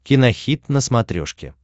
кинохит на смотрешке